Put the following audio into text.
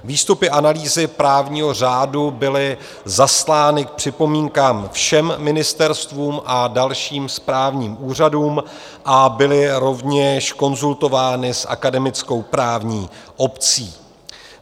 Výstupy analýzy právního řádu byly zaslány k připomínkám všem ministerstvům a dalším správním úřadům a byly rovněž konzultovány s akademickou právní obcí.